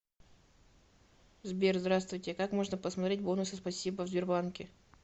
сбер здравствуйте как можно посмотреть бонусы спасибо в сбербанке